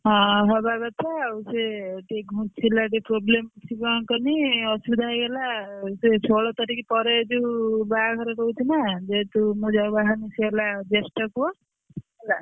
ହଁ ହବା କଥା ଆଉ ସେ ସେଇ ଘୁଞ୍ଚିଲା ଟିକେ problem ସେ କଣ କହନି ଅସୁବିଧା ହେଇଗଲା ସେ ଷୋହଳ ତାରିଖ ପରେ ଯୋଉ ବାହାଘର ରହୁଥିଲା ଯେହେତୁ ମୁଁ ଯାହାକୁ ବାହାହେବୀ ସେ ହେଲା ଜ୍ୟଷ୍ଠ ପୁଅ ହେଲା।